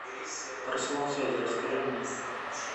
про салон связи расскажи мне